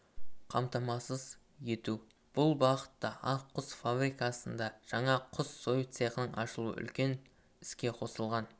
қамтамасыз ету бұл бағытта ақ құс фабрикасында жаңа құс сою цехының ашылуы үлкен іске қосылған